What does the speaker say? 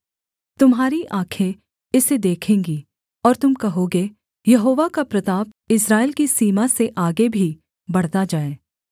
तुम्हारी आँखें इसे देखेंगी और तुम कहोगे यहोवा का प्रताप इस्राएल की सीमा से आगे भी बढ़ता जाए